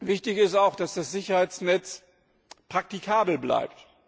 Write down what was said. Wichtig ist auch, dass das Sicherheitsnetz praktikabel bleibt.